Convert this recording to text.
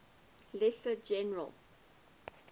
lesser general